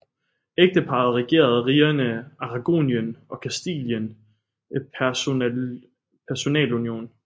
Ægteparret regerede rigerne Aragonien og Kastilien i personalunion